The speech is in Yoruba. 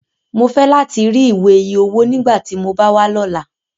Mo fẹ lati ri iwe iye owo nigbati mo ba wa lọla!